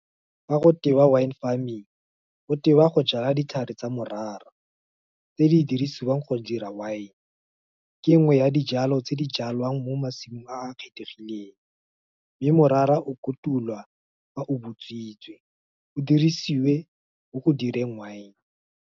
Ga go tewa wine farming, go tewa go jala ditlhare tsa morara, tse di dirisiwang go dira wine, ke nngwe ya dijalo tse di jalwang mo masimong a a kgethegileng, mme morara o kotulwa ka o bontshitswe, o dirisiwe mo go direng wine.